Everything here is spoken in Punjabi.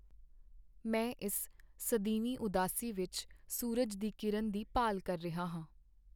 ਮੈਂ ਇਸ ਸਦੀਵੀ ਉਦਾਸੀ ਵਿੱਚ ਸੂਰਜ ਦੀ ਕਿਰਨ ਦੀ ਭਾਲ ਕਰ ਰਿਹਾ ਹਾਂ।